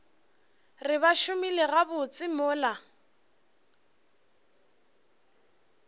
re ba šomile gabotse mola